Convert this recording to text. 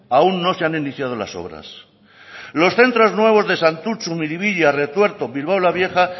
aún no se han iniciado las obras los centros nuevos de santutxu miribilla retuerto bilbao la vieja